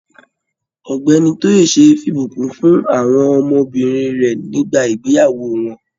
Ọ̀gbẹ́ni Toyese f'ibukun fún àwọn ọmọbìnrin rẹ nígbà ìgbéyàwó wọn.